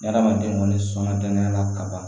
Adamaden kɔni sɔnna danaya la ka ban